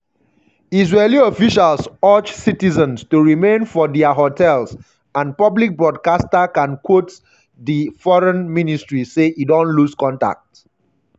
israeli officials urge citizens to remain for dia hotels um and public broadcaster kan quote di um foreign um ministry say e don lose contact